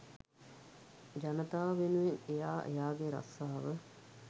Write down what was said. ජනතාව වෙනුවෙන් එයා එයාගේ රස්සාව